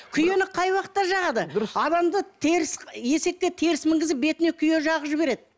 күйені қай уақытта жағады адамды теріс есекке теріс мінгізіп бетіне күйе жағып жібереді